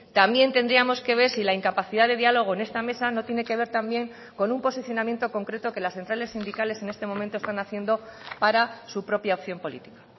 también tendríamos que ver si la incapacidad de diálogo en esta mesa no tiene que ver también con un posicionamiento concreto que las centrales sindicales en este momento están haciendo para su propia opción política